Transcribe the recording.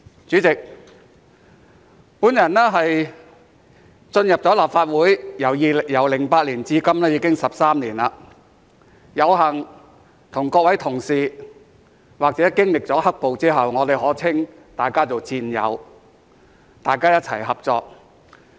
主席，我進入立法會由2008年至今已經13年，有幸與各位同事，或經歷了"黑暴"後，我可稱大家為戰友，大家一起合作。